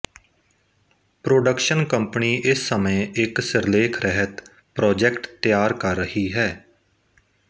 production company ਇਸ ਸਮੇਂ ਇੱਕ ਸਿਰਲੇਖ ਰਹਿਤ ਪ੍ਰੋਜੈਕਟ ਤਿਆਰ ਕਰ ਰਹੀ ਹੈ